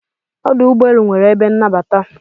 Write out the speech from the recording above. Ọdụ ụgbọelu nwere ebe nnabata.